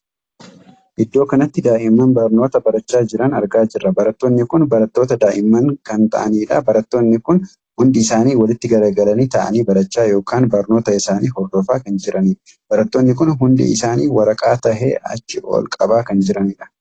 Iddoo kanatti daa'imman barnoota barachaa jiran argaa jirra. barattoonni kun barattoota daa'immani kan taa'aniidha. barattoonni kun hundi isaanii walitti garagalanii taa'anii barachaa ykn barnoota isaanii hordofaa kan jiranidha. barattoonni kun hundi isaanii waraqaa tahee achi ol qabaa kan jiranidha.